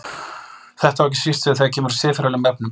Þetta á ekki síst við þegar kemur að siðferðilegum efnum.